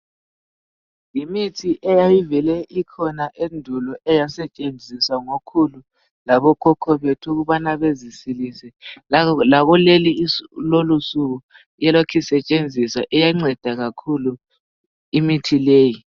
Yimithi eyayivele ikhona endulo eyasatshenziswa ngokhulu labo khokho bethu ukubana bezisilise, lakulolu suku lokhe isetshenziswa iyanceda kakhulu imithi leyi.